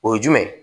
O ye jumɛn ye